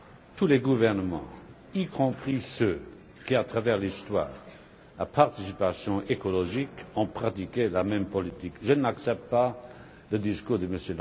Tous les gouvernements, y compris ceux qui, à travers l'histoire, la participation écologique, ont pratiqué la même politique. Je n'accepte pas le discours de M.